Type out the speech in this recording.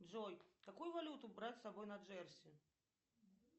джой какую валюту брать с собой на джерси